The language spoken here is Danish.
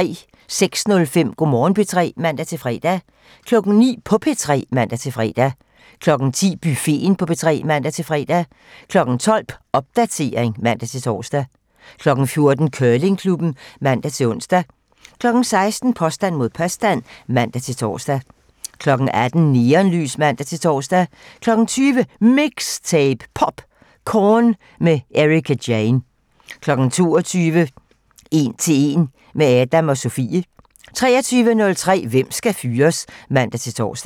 06:05: Go' Morgen P3 (man-fre) 09:00: På P3 (man-fre) 10:00: Buffeten på P3 (man-fre) 12:00: Popdatering (man-tor) 14:00: Curlingklubben (man-ons) 16:00: Påstand mod påstand (man-tor) 18:00: Neonlys (man-tor) 20:00: MIXTAPE - POPcorn med Ericka Jane 22:00: 1 til 1 - med Adnan og Sofie (man) 23:03: Hvem skal fyres? (man-tor)